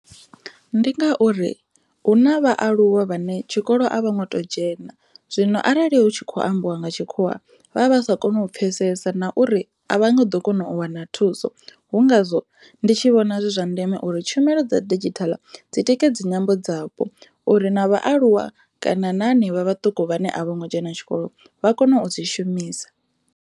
Ndi ngauri hu na vhaaluwa vhane tshikolo a vho ngo to dzhena zwino arali hu tshi kho ambiwa nga tshikhuwa vha vha sa koni u pfhesesa na uri a vha nga ḓo kona u wana thuso, hu ngazwo ndi tshi vhona zwizwa ndeme uri tshumelo dza digital dzi tikedze nyambo dzapo uri na vhaaluwa na hanevha vhaṱuku vhane a vho ngo dzhena tshikolo vha kone u dzi shumisa.